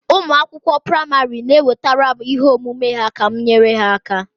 Ụmụ akwụkwọ praịmarị na-ewetara m ihe omume ha ka m nyere ha aka